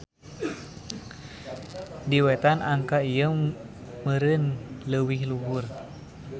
Di Wetan angka ieu meureun leuwih luhur.